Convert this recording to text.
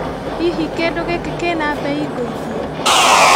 Hihi kĩndũ gĩkĩ kĩna mbei ngũithie?